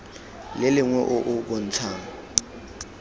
le lengwe o o bontshang